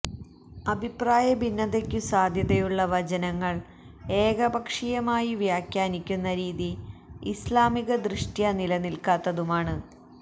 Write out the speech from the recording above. അഭിപ്രായ ഭിന്നതക്കു സാധ്യതയുള്ള വചനങ്ങള് ഏക പക്ഷീയമായി വ്യാഖാനിക്കുന്ന രീതി ഇസ്ലാമികദൃഷ്ട്യാ നിലനില്ക്കാത്തതുമാണ്